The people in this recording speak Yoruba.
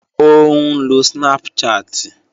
Ó ń lo Snapchat